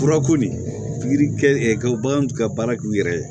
Furako nin pikiri kɛ ka bagan t'u ka baara k'u yɛrɛ ye